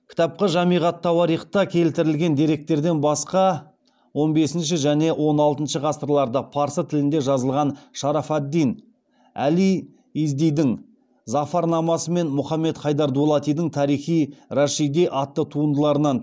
кітапқа жамиғ ат тауарихта келтірілген деректерден басқа он бесінші және он алтыншы ғасырларда парсы тілінде жазылған шараф ад дин әли издидің зафар намасы мен мұхаммед хайдар дулатидің тарих и рашиди атты туындыларынан